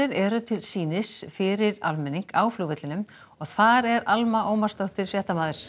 eru til sýnis fyrir almenning á flugvellinum og þar er Alma Ómarsdóttir fréttamaður